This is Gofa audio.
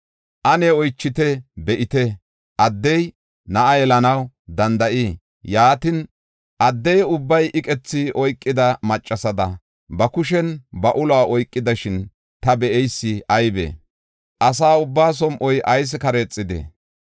Ane oychite; be7ite; addey na7a yelanaw danda7ii? Yaatin, adde ubbay iqethi oykida maccasada, ba kushen ba uluwa oykidashin ta be7eysi aybee? Asa ubbaa som7oy ayis kareexidee?